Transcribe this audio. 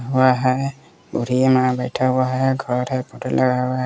हुआ है पूरी बूढ़ी अम्मा बैठा हुआ है घर है फोटो लगा हुआ है।